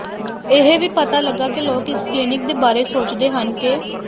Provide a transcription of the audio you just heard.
ਇਹ ਵੀ ਪਤਾ ਲੱਗਾ ਕਿ ਲੋਕ ਇਸ ਕਲੀਨਿਕ ਦੇ ਬਾਰੇ ਸੋਚਦੇ ਹਨ ਕਿ